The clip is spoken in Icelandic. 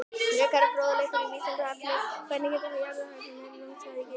Frekari fróðleikur á Vísindavefnum: Hvernig geta jarðhræringar rumskað við Geysi?